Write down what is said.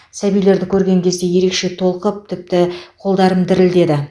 сәбилерді көрген кезде ерекше толқып тіпті қолдарым дірілдеді